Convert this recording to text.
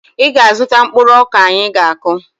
Ị ga-azụta mkpụrụ ọka anyị ga-akụ!